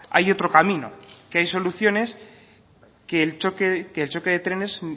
hay otro camino que hay soluciones y que el choque de trenes